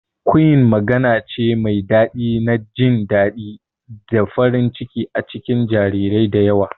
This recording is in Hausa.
Cooing magana ce mai daɗi na jin daɗi da farin ciki a cikin jarirai da yawa